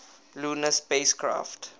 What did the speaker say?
lunar spacecraft